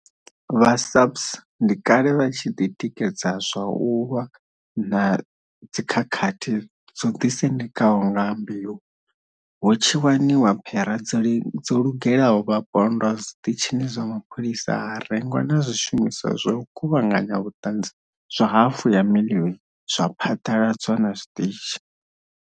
Vha SAPS ndi kale vha tshi ḓitikedza zwa u lwa na dzikhakhathi dzo ḓisendekaho nga mbeu, hu tshi waniwa phera dzo lugelaho vhapondwa zwiṱitshini zwa mapholisa ha rengwa na zwi shumiswa zwa u kuvhanganya vhuṱanzi zwa hafu ya miḽioni zwa phaḓaladzwa na zwiṱitshi.